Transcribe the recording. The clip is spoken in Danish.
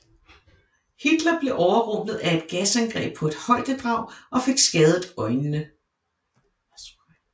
Hitler blev overrumplet af et gasangreb på et højdedrag og fik skadet øjnene